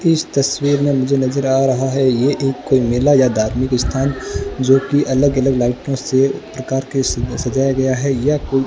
इस तस्वीर में मुझे नज़र आ रहा है ये एक कोई मेला या धार्मिक स्थान जो कि अलग अलग लाइटों से प्रकार के सजाया गया है यह कोई --